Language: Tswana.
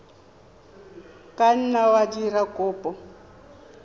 ka nna wa dira kopo